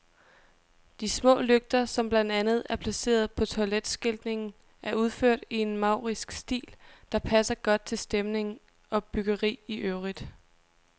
De små lygter, som blandt andet er placeret på toiletskiltningen, er udført i en maurisk stil, der passer godt til stemning og byggeri i øvrigt.